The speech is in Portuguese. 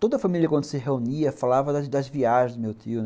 Toda a família, quando se reunia, falava das das viagens do meu tio, né.